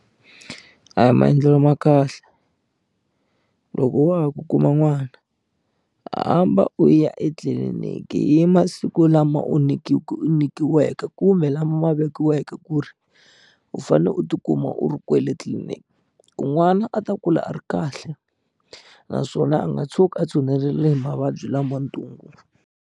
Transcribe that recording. A hi maendlelo ma kahle loko wa ha ku kuma n'wana hamba u ya etliliniki hi masiku lama u u nyikiweke kumbe lama vekiweke ku ri u fanele u tikuma u ri kwele tliliniki ku n'wana a ta kula a ri kahle naswona a nga tshuki a tshunelele hi mavabyi lama ntungu.